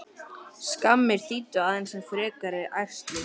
Skammir þýddu aðeins enn frekari ærsl.